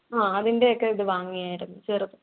ആഹ് അതിന്‍ടെയൊക്കെ വാങ്ങിയാർന്നു ചെറുത്‌.